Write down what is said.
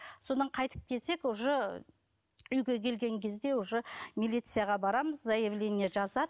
содан қайтып келсек уже үйге келген кезде уже милицияға барамыз заявление жазады